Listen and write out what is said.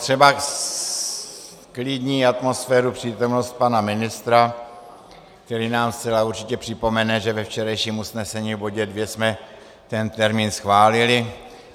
Třeba zklidní atmosféru přítomnost pana ministra, který nám zcela určitě připomene, že ve včerejším usnesení v bodě 2 jsme ten termín schválili.